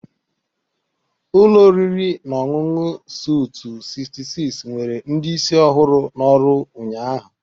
Ụlọ oriri na ọṅụṅụ Soutu 66 nwere ndị isi ọhụrụ n'ọrụ ụnyahụ.